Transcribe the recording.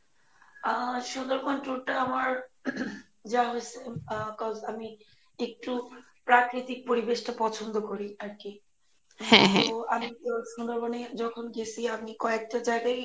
আহ Sundarban tour টা আমার যাওয়া হয়েসে আহ couse আমি একটু প্রাকৃতিক পরিবেশটা পছন্দ করি আর কি সুন্দরবনে যখন গেসি আমি কয়েকটা জায়গায়ই,